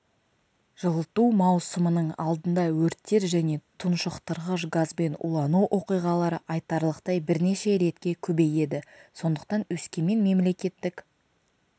жылыту маусымының алдында өрттер және тұншықтырғыш газбен улану оқиғалары айтарлықтай бірнеше ретке көбейеді сондықтан өскемен мемлекеттік